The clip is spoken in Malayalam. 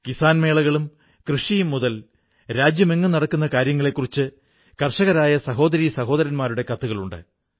കിസ്സാൻ മേളകളും കൃഷിയും മുതൽ രാജ്യമെങ്ങും നടക്കുന്ന കാര്യങ്ങളെക്കുറിച്ച് കർഷകരായ സഹോദരീ സഹോദരന്മാരുടെ കത്തുകളുണ്ട്